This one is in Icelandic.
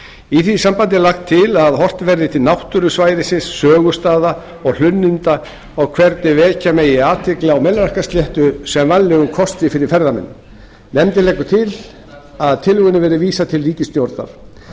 í því sambandi er lagt til að horft verði til náttúru svæðisins sögustaða og hlunninda og hvernig vekja megi athygli á melrakkasléttu sem vænlegum kosti fyrir ferðamenn nefndin leggur til að tillögunni verði vísað til ríkisstjórnarinnar